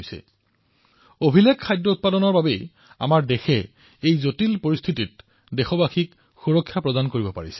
অভিলেখ সংখ্যক খাদ্যশস্য উৎপাদনৰ বাবেই আমাৰ দেশে প্ৰতিজন দেশবাসীক শক্তিশালী কৰিবলৈ সক্ষম হৈছে